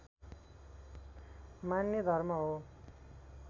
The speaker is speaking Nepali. मान्ने धर्म हो